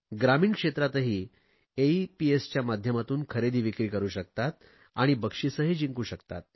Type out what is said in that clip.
ग्रामीण क्षेत्रातही एईपीएसच्या माध्यमातून खरेदीविक्री करु शकतात आणि बक्षिसेही जिंकू शकतात